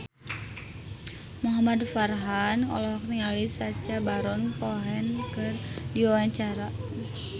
Muhamad Farhan olohok ningali Sacha Baron Cohen keur diwawancara